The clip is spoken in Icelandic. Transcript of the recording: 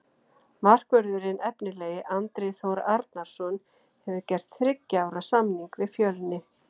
Markvörðurinn efnilegi Andri Þór Arnarson hefur gert þriggja ára samning við Fjölni.